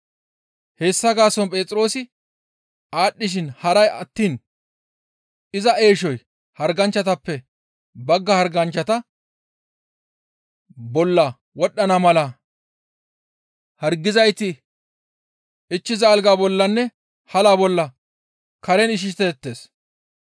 Hessa gaason Phexroosi aadhdhishin haray attiin iza eeshoy harganchchatappe bagga harganchchata bolla wodhdhana mala hargizayti ichchiza alga bollanne hala bolla karen ishiseettes.